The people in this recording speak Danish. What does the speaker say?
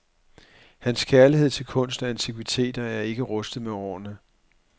Hans kærlighed til kunst og antikviteter er ikke rustet med årene.